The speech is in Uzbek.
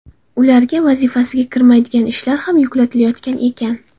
Ularga vazifasiga kirmaydigan ishlar ham yuklatilayotgan ekan.